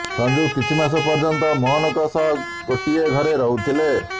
ସଞ୍ଜୁ କିଛି ମାସ ପର୍ଯ୍ୟନ୍ତ ମୋହନଙ୍କ ସହ ଗୋଟିଏ ଘରେ ରହୁଥିଲେ